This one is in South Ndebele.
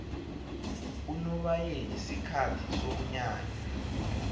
unobayeni sikhathi somnyanya